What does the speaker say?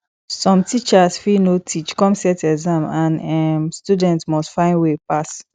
som teachers fit no teach kon set exam and um student must find way pass